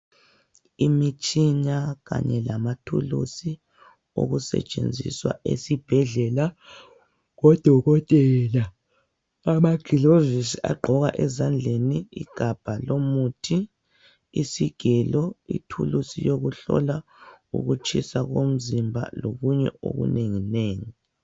Imitshina kanye lamathulusi okusetshenziswa esibhedlela ngodokotela. Amaglovisi agqokwa ezandleni, igabha lomuthi, Isigelo, ithulusi yokuhlola ukutshisa komzimba lokunye okunenginengi.